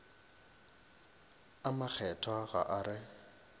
a makgethwa ga a re